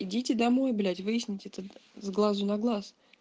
идите домой блять выясните этот с глазу на глаз